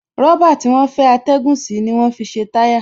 Rọ̀bà tí wọ́n fẹ́ atẹ́gùn sí ni wọ́n fi ṣe táyà